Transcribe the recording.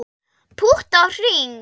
Pútt á hring